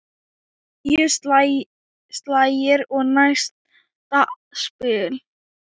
Níu slagir og næsta spil.